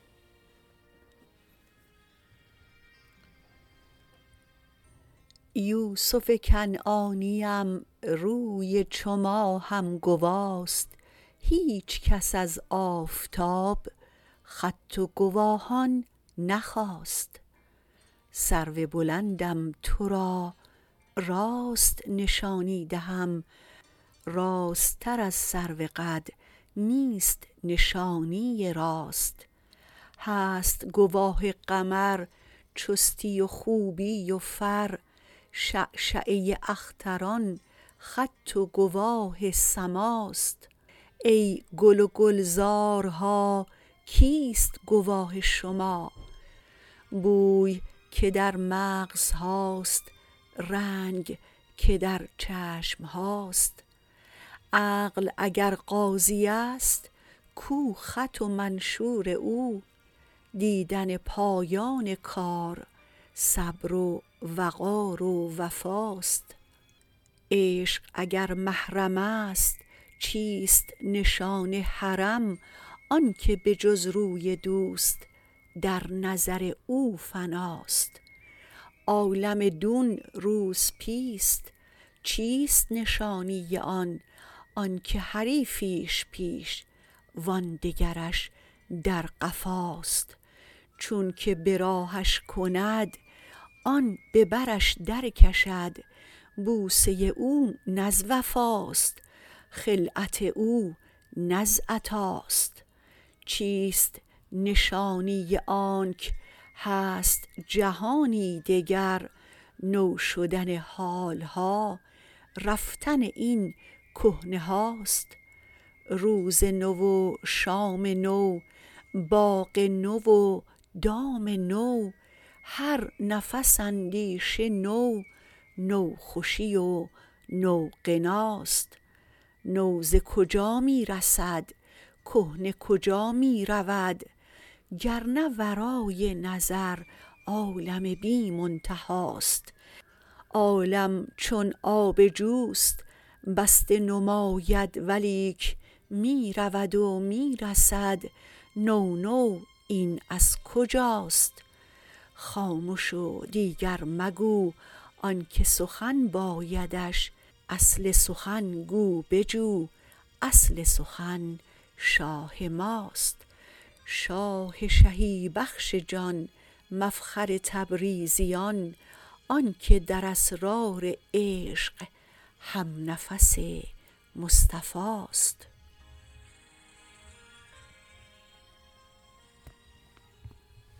یوسف کنعانیم روی چو ماهم گواست هیچ کس از آفتاب خط و گواهان نخواست سرو بلندم تو را راست نشانی دهم راستتر از سروقد نیست نشانی راست هست گواه قمر چستی و خوبی و فر شعشعه اختران خط و گواه سماست ای گل و گلزارها کیست گواه شما بوی که در مغزهاست رنگ که در چشم هاست عقل اگر قاضیست کو خط و منشور او دیدن پایان کار صبر و وقار و وفاست عشق اگر محرم است چیست نشان حرم آنک به جز روی دوست در نظر او فناست عالم دون روسپیست چیست نشانی آن آنک حریفیش پیش و آن دگرش در قفاست چونک به راهش کند آن به برش درکشد بوسه او نه از وفاست خلعت او نه از عطاست چیست نشانی آنک هست جهانی دگر نو شدن حال ها رفتن این کهنه هاست روز نو و شام نو باغ نو و دام نو هر نفس اندیشه نو نوخوشی و نوغناست نو ز کجا می رسد کهنه کجا می رود گر نه ورای نظر عالم بی منتهاست عالم چون آب جوست بسته نماید ولیک می رود و می رسد نو نو این از کجاست خامش و دیگر مگو آنک سخن بایدش اصل سخن گو بجو اصل سخن شاه ماست شاه شهی بخش جان مفخر تبریزیان آنک در اسرار عشق همنفس مصطفاست